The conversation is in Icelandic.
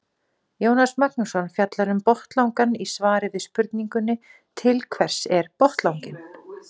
Jónas Magnússon fjallar um botnlangann í svari við spurningunni Til hvers er botnlanginn?